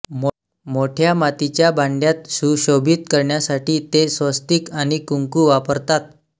मोठ्या मातीच्या भांड्यांत सुशोभित करण्यासाठी ते स्वस्तिक आणि कुंकू वापरतात